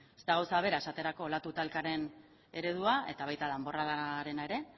ez da gauza bera esaterako olatu talkaren eredua eta baita danborradarena ere